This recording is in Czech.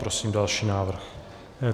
Prosím další návrh.